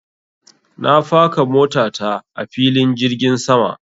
Na faka mota ta a filin jirgin sama.